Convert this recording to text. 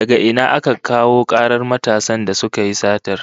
Daga ina aka kawo karar matasan da suka yi satar?